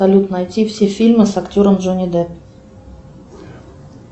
салют найти все фильмы с актером джонни депп